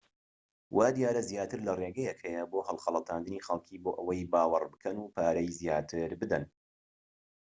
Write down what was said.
وا دیارە زیاتر لە ڕێگەیەک هەیە بۆ هەڵخەڵەتاندنی خەلکی بۆ ئەوەی باوەڕ بکەن و پارەی زیاتر بدەن